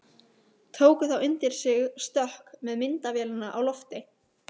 Tók þá undir sig stökk með myndavélina á lofti.